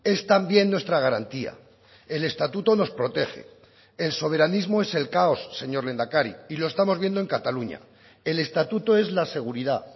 es también nuestra garantía el estatuto nos protege el soberanismo es el caos señor lehendakari y lo estamos viendo en cataluña el estatuto es la seguridad